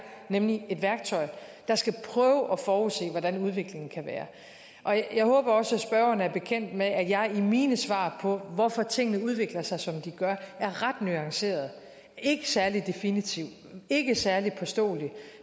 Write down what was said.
nemlig et værktøj der skal prøve at forudse hvordan udviklingen kan være jeg håber også at spørgeren er bekendt med at jeg i mine svar på hvorfor tingene udvikler sig som de gør er ret nuanceret ikke særlig definitiv ikke særlig påståelig